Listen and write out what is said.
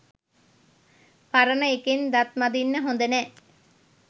පරණ එකෙන් දත් මදින්න හොඳ නෑ.